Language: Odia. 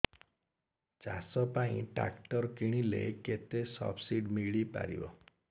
ଚାଷ ପାଇଁ ଟ୍ରାକ୍ଟର କିଣିଲେ କେତେ ସବ୍ସିଡି ମିଳିପାରିବ